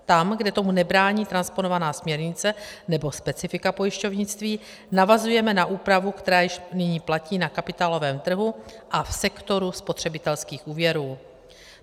Tam, kde tomu nebrání transponovaná směrnice nebo specifika pojišťovnictví, navazuje na úpravu, která již nyní platí na kapitálovém trhu a v sektoru spotřebitelských úvěrů.